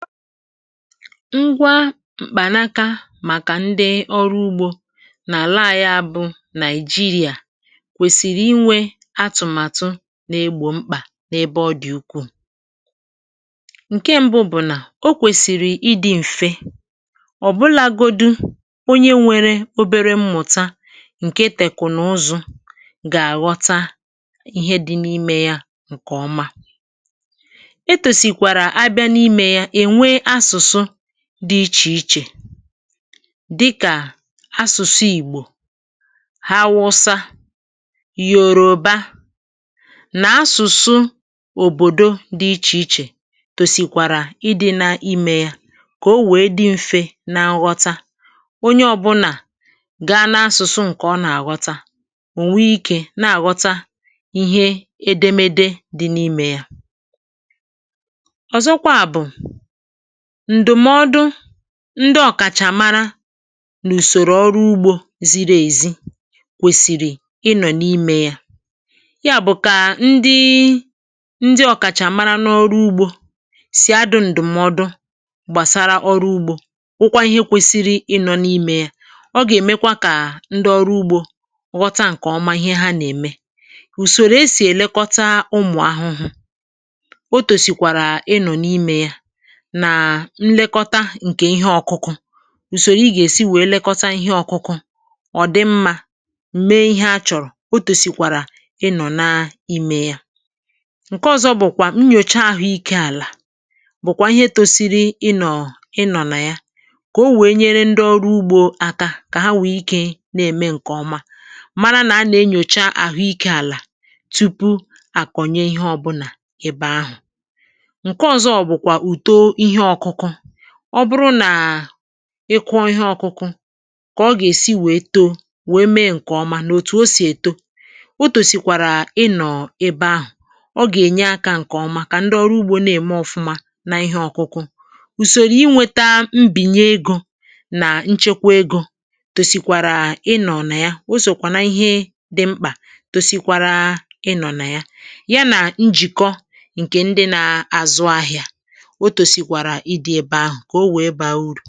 Ngwa m̀kpànaka màkà ndị ọrụ ugbȯ nà-àla ànyị a bụ̇ Nigeria, kwèsìrì inwė atụ̀màtụ nà-egbò mkpà n’ebe ọ dị̀ ukwuù. Nke ṁbụ bụ̀ nà o kwèsìrì ịdị̇ m̀fe, ọ̀bụlȧgodu onye nwere obere mmụ̀ta ǹkè tèkùnuzu gà-àghọta ihe dị̇ n’imė yȧ ǹkè ọma. Etosikwara abịa n’ime ya, e nwe asụ̀sụ dị ichè ichè dịkà asụ̀sụ Igbò, Haụsȧ, Yoruba nà asụ̀sụ òbòdo dị ichè ichè tòsìkwàrà ịdị̇ na imė yȧ kà o wèe dị mfė na nghọta. Onye ọ̇bụ̇nà ga n’asụ̀sụ ǹkè ọ nà-àgọta, ò nwee ikė na-àghọta ihe edemede dị̇ n’imė yȧ. Ọ̀zọkwa bụ̀, ndụmọdụ ndị ọ̀kàchàmara n’ùsòrò ọrụ ugbȯ ziri èzi kwèsìrì ị nọ̀ n’imė ya, ya bụ̀ kà ndị ndị ọ̀kàchà mara n’ọrụ ugbȯ sì adụ ǹdụ̀mọdụ gbàsara ọrụ ugbȯ bụ kwa ihe kwesịrị ị nọ n’ime ya. Ọ gà-èmekwa kà ndị ọrụ ugbȯ ghọta ǹkè ọma ihe ha nà-ème. Usòrò esì èlekọta ụmụ̀ ahụhụ, otosịkwara ị nọ n’ime ya na nlekọta nke ihe ọkụkụ, usoro ị g’esi wee lekọta ihe ọkụkụ, ọ dị mma mee ihe achọrọ, otosikwara ị nọ na ime ya. Nke ọ̀zọ bụ̀kwà nnyòcha àhụ ikė àlà bụ̀kwà ihe tòsiri ị nọ̀ ị nọ̀ nà ya, kà o wèe nyere ndị ọrụ ugbȯ àka, kà ha nwè ikė nà-ème ǹkèọma, mara nà a nà-enyòcha àhụ ikė àlà tupu àkọ̀nye ihe ọbụlà ebe ahụ̀. Nke ọzọ bụ kwa uto ihe ọkụkụ. Ọ bụrụ nà ị kụọ ihe ọkụkụ, kà ọ gà-èsi wèe too, wèe mee ǹkè ọma nà òtù o sì èto, otòsìkwàrà ị nọ̀ ebe ahụ̀. Ọ gà-ènye akȧ ǹkè ọma kà ndị ọrụ ugbȯ na-ème ọfụma na ihe ọkụkụ. Usòrò inwėta mbìnye egȯ nà nchekwa egȯ tòsìkwàrà ị nọ na ya. O sòkwà nà ihe dị mkpà tòsìkwara ị nọ̀ na ya ,ya nà njìkọ ǹkè ndị na-àzụ ahịȧ. Otosikwara ị dị ebe ahụ ka o wee baa uru.